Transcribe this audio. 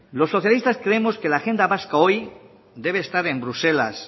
los socialistas creemos que la agenda vasca hoy debe estar en bruselas